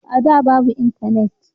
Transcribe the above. A da babu intanet